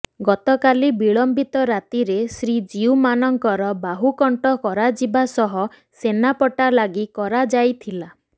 ଗତକାଲି ବିଳମ୍ବିତ ରାତିରେ ଶ୍ରୀ ଜିଉ ମାନଙ୍କର ବାହୁକଂଟ କରାଯିବା ସହ ସେନାପଟ୍ଟା ଲାଗି କରାଯାଇଥିଲା